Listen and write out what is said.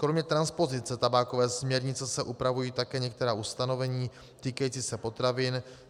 Kromě transpozice tabákové směrnice se upravují také některá ustanovení týkající se potravin.